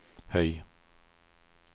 høy